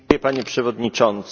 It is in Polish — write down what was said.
Panie Przewodniczący!